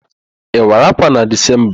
Ị wara ákwà na Dezemba?